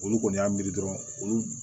Olu kɔni y'a miiri dɔrɔn olu